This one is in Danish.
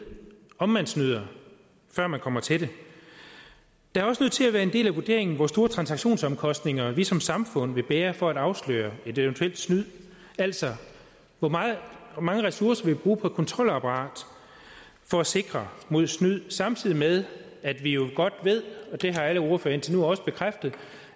om man snyder før man kommer til det det er også nødt til at være en del af vurderingen hvor store transaktionsomkostninger vi som samfund vil bære for at afsløre et eventuelt snyd altså hvor mange ressourcer vi vil bruge på et kontrolapparat for at sikre mod snyd samtidig med at vi jo godt ved det har alle ordførere indtil nu også bekræftet